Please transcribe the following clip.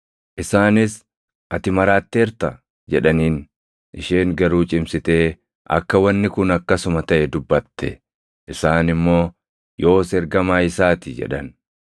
Isaanis, “Ati maraatteerta!” jedhaniin; isheen garuu cimsitee akka wanni kun akkasuma taʼe dubbatte; isaan immoo, “Yoos ergamaa isaa ti!” jedhan.